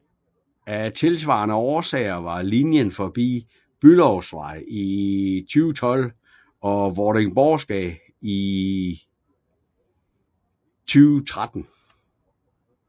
Af tilsvarende årsager var linjen forbi Bülowsvej i 2012 og Vordingborggade i 2013